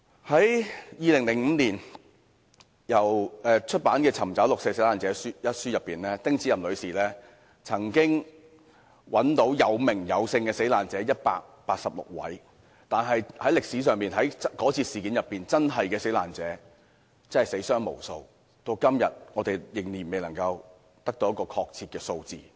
"在2005年出版的《尋訪六四受難者》一書中，丁子霖女士找到有名有姓的死難者共186位，但在歷史上，該次事件的真正死難者數目，即使死傷無數，但至今仍未能得到一個確切數字。